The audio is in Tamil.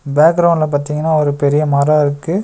பேக்ரவுண்ட்ல பாத்தீங்கன்னா ஒரு பெரிய மரோ இருக்கு.